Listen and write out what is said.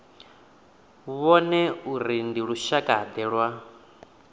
vhone uri ndi lushakade lwa